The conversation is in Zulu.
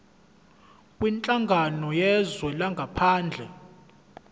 kwinhlangano yezwe langaphandle